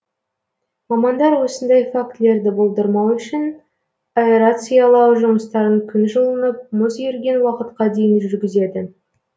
мамандар осындай фактілерді болдырмау үшін аэрациялау жұмыстарын күн жылынып мұз еріген уақытқа дейін жүргізеді